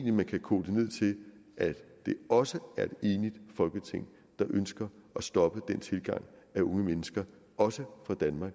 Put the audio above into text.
at man kan koge det ned til at det også er et enigt folketing der ønsker at stoppe den tilgang af unge mennesker også fra danmark